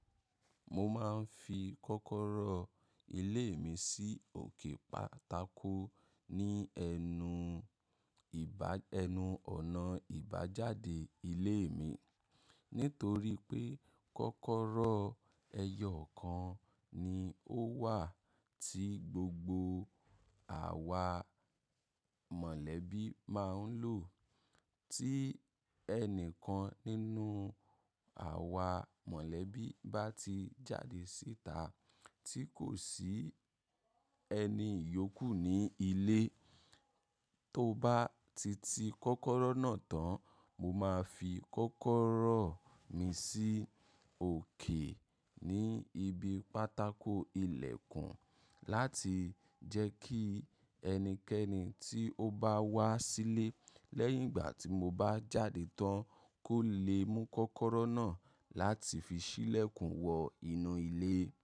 Mo máa ń fi kọ́kọ́rọ́ ilé mi sí òkè pátákó ní ẹnu ìbà, ẹnu ọ̀nà ìbà jáde ilé mi. Nítorí pé kọ́kọ́rọ́ ẹyọ kan ni ó wà tí gbogbo àwa mọ̀lẹ́bí máa ń lò. Tí ẹnìkan nínú àwa mọ̀lẹ́bí bá ti jáde síta tí kò sí ẹni yòókù ní ilé, tó bá ti ti kọ́kọ́rọ́ náà tán, mo máa fi kọ́kọ́rọ́ mi sí òkè ní ibi pátákó ìlẹ̀kùn láti jẹ́ kí ẹnikẹ́ni tí ó bá wá sílé lẹ́yìn ìgbà tí mo bá jáde tán kó le mú kọ́kọ́rọ́ náà láti fi ṣí ìlẹ̀kùn wọ inú ilé.